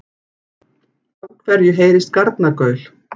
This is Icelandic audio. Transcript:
Af hverju heyrist garnagaul?